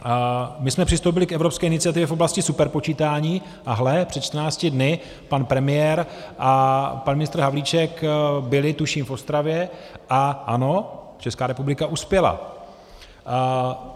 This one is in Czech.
My jsme přistoupili k evropské iniciativě v oblasti superpočítání, a hle, před 14 dny pan premiér a pan ministr Havlíček byli tuším v Ostravě, a ano, Česká republika uspěla.